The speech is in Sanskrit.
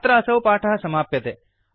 अत्र असौ पाठः समाप्यते